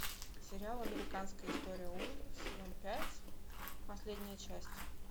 сериал американская история ужасов сезон пять последняя часть